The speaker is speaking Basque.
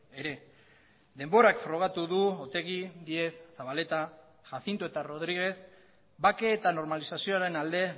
ere denborak frogatu du otegi díez zabaleta jacinto eta rodríguez bake eta normalizazioaren alde